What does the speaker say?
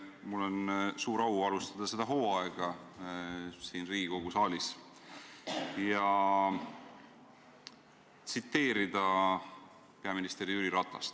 Mul on suur au alustada seda hooaega siin Riigikogu saalis ja tsiteerida peaminister Jüri Ratast.